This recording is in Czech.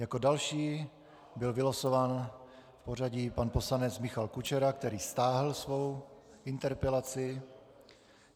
Jako další byl vylosován v pořadí pan poslanec Michal Kučera, který stáhl svou interpelaci.